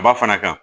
Ba fana kan